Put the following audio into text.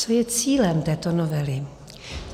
Co je cílem této novely?